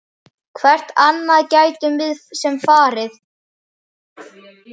Hvert annað gætum við svo sem farið?